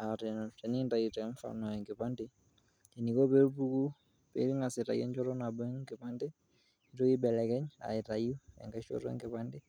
Aa teninkitau mfano enkipande eniko peepuku , pengas aitayu enchoto nabo enkipande , nitoki aibelekenya aitayu enkae shoto enkipande.